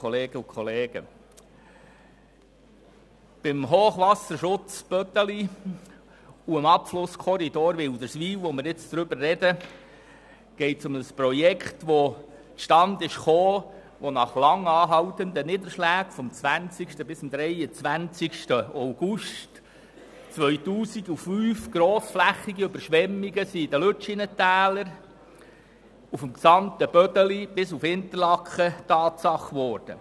der BaK. Beim Hochwasserschutz Bödeli und dem Abschlusskorridor Wilderswil, über die wir jetzt sprechen, geht es um ein Projekt, das zustande kam, nachdem infolge langanhaltender Niederschläge vom 20. bis am 23. August 2005 grossflächige Überschwemmungen in den Lütschinentälern und auf dem gesamten Bödeli bis nach Interlaken Tatsache wurden.